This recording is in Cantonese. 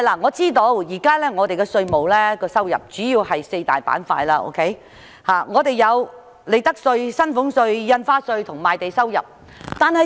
我知道香港現時的稅務收入主要分為四大板塊，計為利得稅、薪俸稅、印花稅及賣地收入。